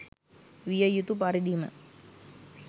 විය යුතු පරිදිම